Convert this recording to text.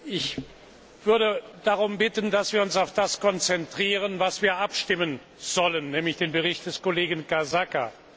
Ich würde darum bitten, dass wir uns auf das konzentrieren, worüber wir abstimmen sollen, nämlich den Bericht des Kollegen Casaca.